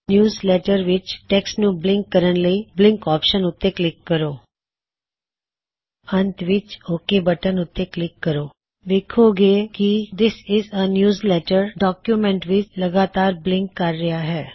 newsletter ਵਿੱਚ text ਨੂੰ blink ਕਰਨ ਲਈ ਬਲਿੰਕ ਆਪਸ਼ਨ ਉੱਤੇ ਕਲਿਕ ਕਰੋ ਅੰਤ ਵਿੱਚ ਓਕ ਬਟਨ ਉੱਤੇ ਕਲਿਕ ਕਰੋ ਵੇੱਖੋਂ ਗੇ ਕੀ this is a newsletter document ਵਿੱਚ ਲਗਾਤਾਰ ਬਲਿੰਕ ਕਰ ਰਿਹਾ ਹੈ